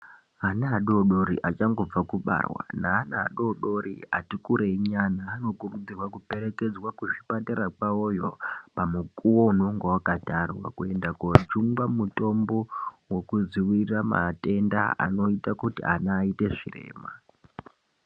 Ana adori dori achangobva kubarwa, naana adori dori ati kurei nyana, anokurudzirwa kuperekedzwa kuzvipatara kwawoyo pamukuwo unonga wakatarwa kuenda kojungwa mutombo wokudziwirira matenda anoita kuti ana aite zvirema.